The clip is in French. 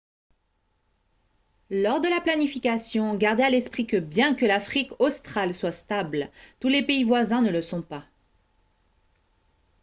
lors de la planification gardez à l'esprit que bien que l'afrique australe soit stable tous les pays voisins ne le sont pas